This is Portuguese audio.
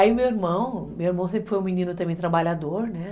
Aí meu irmão, meu irmão sempre foi um menino também trabalhador, né?